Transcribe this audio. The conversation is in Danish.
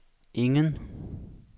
ingen